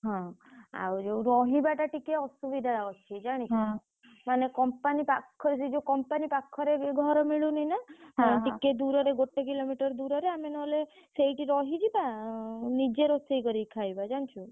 ହଁ ଆଉ ଯୋଉ ରହିବା ଟା ଟିକେ ଅସୁବିଧା ଅଛି ଜାଣିଲୁ ମାନେ company ପାଖରେ ସେ ଯୋଉ company ପାଖରେ ଘରେ ମିଳୁନି ନା ଟିକେ ଦୂରରେ ଗୋଟେ kilometer ଦୂରରେ ଆମେ ନହେଲେ ସେଇଠି ରହିଯିବା ନିଜେ ରୋଷେଇ କରିକି ଖାଇବା ଜାଣିଛୁ?